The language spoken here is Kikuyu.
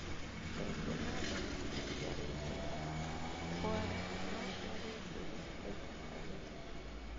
Ndengũ na thoroko ciarĩ njega Kwale no ciarĩ njũru Taita Taveta